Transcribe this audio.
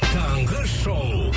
таңғы шоу